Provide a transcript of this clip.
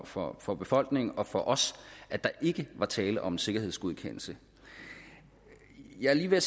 for for befolkningen og for os at der ikke var tale om en sikkerhedsgodkendelse jeg er lige ved at